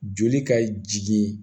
Joli ka jigin